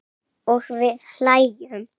Og við hlæjum.